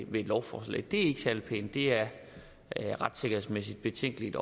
med et lovforslag det er ikke særlig pænt det er retssikkerhedsmæssigt betænkeligt